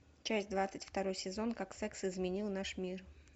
часть двадцать второй сезон как секс изменил наш мир